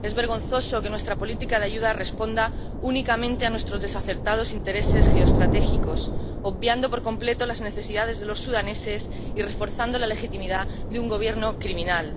Es vergonzoso que nuestra política de ayuda responda únicamente a nuestros desacertados intereses geoestratégicos, obviando por completo las necesidades de los sudaneses y reforzando la legitimidad de un Gobierno criminal.